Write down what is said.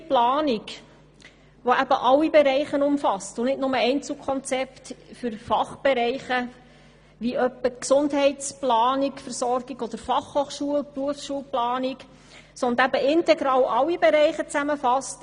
Eine solche Planung umfasst alle Bereiche und nicht nur Einzelkonzepte für Fachbereiche, wie etwa die Gesundheitsversorgung oder Fachhochschulen und Berufsschulen, sondern fasst integral alle Bereiche zusammen.